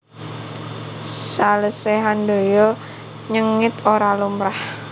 Salese Handoyo nyengit ora lumrah